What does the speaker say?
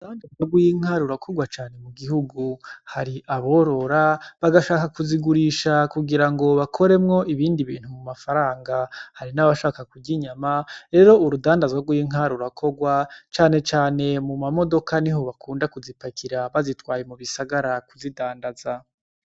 Dandazwa rwinkarurakorwa cane mu gihugu hari aborora bagashaka kuzigurisha kugira ngo bakoremwo ibindi bintu mu mafaranga hari n'abashaka kurya inyama rero urudandazwa rwinkarurakorwa canecane mu mamodoka ni ho bakunda kuzipakira bazitwaye mu bisagara kuzidandaza.